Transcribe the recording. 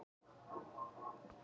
Margir teknir fyrir hraðakstur